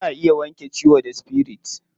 Za a iya wanke ciwo da spirit.